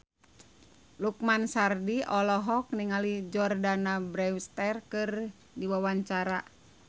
Lukman Sardi olohok ningali Jordana Brewster keur diwawancara